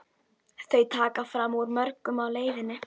Þau taka fram úr mörgum á leiðinni.